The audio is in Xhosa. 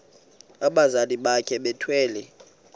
abazali bakhe bethwele